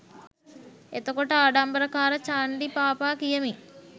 එතකොට ආඩම්බරකාර චන්ඩි බාපා කියමි